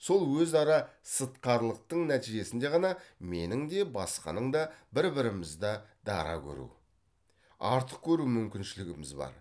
сол өзара сыртқарылықтың нәтижесінде ғана менің де басқаның да бір бірімізді дара көру артық көру мүмкіншілігіміз бар